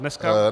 Dneska?